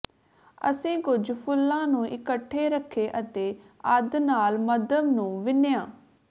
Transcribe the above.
ਅਸੀਂ ਕੁਝ ਫੁੱਲਾਂ ਨੂੰ ਇਕੱਠੇ ਰੱਖੇ ਅਤੇ ਅੱਧ ਨਾਲ ਮੱਧਮ ਨੂੰ ਵਿੰਨ੍ਹਿਆ